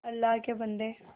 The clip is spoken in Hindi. अल्लाह के बन्दे